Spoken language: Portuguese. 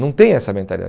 Não tem essa mentalidade.